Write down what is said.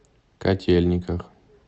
котельниках